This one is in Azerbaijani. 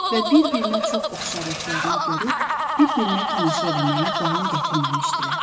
Və bir-birinə çox oxşarlıqlarını görüb, bir-birinə tamaşa eləməyə davam gətirməmişdilər.